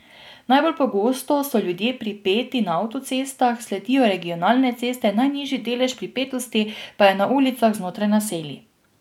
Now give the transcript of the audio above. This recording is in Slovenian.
Najbolj pogosto so ljudje pripeti na avtocestah, sledijo regionalne ceste, najnižji delež pripetosti pa je na ulicah znotraj naselij.